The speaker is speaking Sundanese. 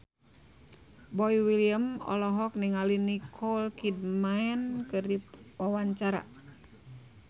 Boy William olohok ningali Nicole Kidman keur diwawancara